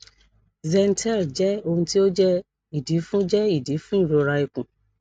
zentel jẹ ohun ti o jẹ idi fun jẹ idi fun irora ikun